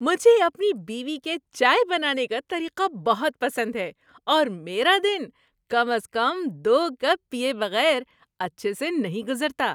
مجھے اپنی بیوی کے چائے بنانے کا طریقہ بہت پسند ہے اور میرا دن کم از کم دو کپ پیئے بغیر اچھے سے نہیں گزرتا۔